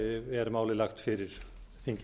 er málið lagt fyrir þingið